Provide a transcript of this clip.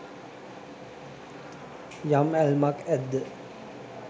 යම් ඇල්මක් ඇද්ද